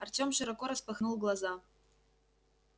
артём широко распахнул глаза